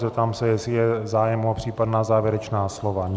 Zeptám se, jestli je zájem o případná závěrečná slova.